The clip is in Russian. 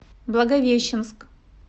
благовещенск